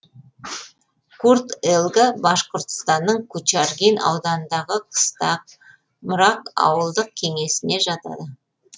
курт елга башқұртстанның кугарчин ауданындағы қыстақ мрак ауылдық кеңесіне жатады